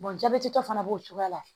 jabɛtitɔ fana b'o cogoya la